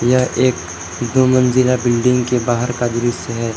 यह एक दो मंजिला बिल्डिंग के बाहर का दृश्य है।